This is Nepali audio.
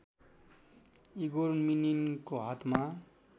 इगोर मिनिनको हातमा